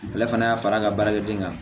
Ale fana y'a fara n ka baarakɛden kan